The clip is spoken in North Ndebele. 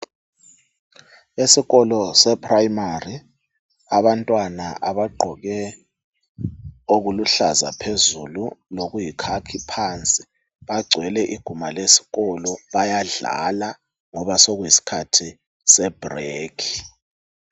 Esikolo sePrimary abantwana abagqoke okuluhlaza phezulu lokuyikhakhi phansi bagcwele iguma lesikolo bayadlala ngoba sekuyisikhathi sebreak.